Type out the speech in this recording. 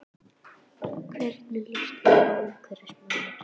Hvernig líst þér á umhverfismálin?